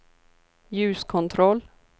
ljuskontroll